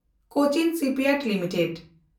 Cochin shipyard limited